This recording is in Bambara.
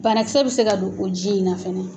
Banakisɛ bɛ se ka don o ji in na fɛnɛ.